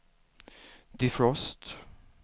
defrost